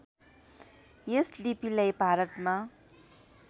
यस लिपिलाई भारतमा